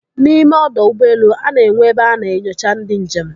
N'ime ọdọ ụgbọelu, a na-enwe ebe a na-enyocha ndị njem.